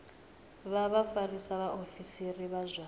vha vhafarisa vhaofisiri vha zwa